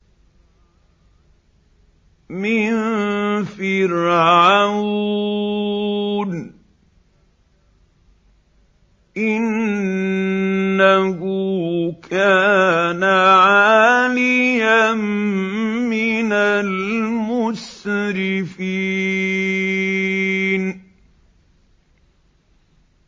مِن فِرْعَوْنَ ۚ إِنَّهُ كَانَ عَالِيًا مِّنَ الْمُسْرِفِينَ